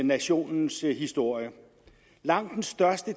nationens historie langt den største